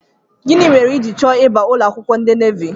Gịnị mere ijiri chọọ ịba ụlọakwụkwọ ndị navi?